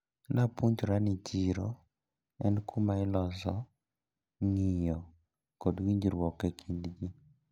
Napuonjra ni chiro en kumailose ng`iyo kod winjruok ekind ji.